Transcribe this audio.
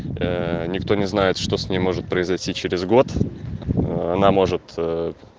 ээ никто не знает что с ним может произойти через год она может ээ